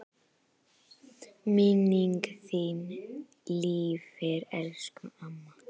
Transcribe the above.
Minning þín lifir elsku amma.